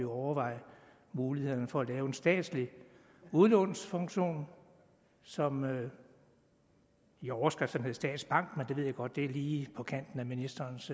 overveje mulighederne for at lave en statslig udlånsfunktion som i overskrifterne hed statsbank men det ved jeg godt lige på kanten af ministerens